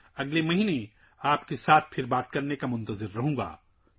میں اگلے مہینے آپ کے ساتھ دوبارہ رابطہ قائم کرنے کا منتظر ہوں